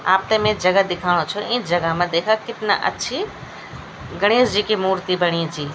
आपथे मे जगह दिखाणु छो इं जगह मा देखा कितना अच्छी गणेश जी की मूर्ति बणी ची।